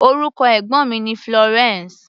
Orúkọ ẹ̀gbọ́n mi ni Florence.